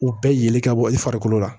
U bɛɛ yeli ka bɔ i farikolo la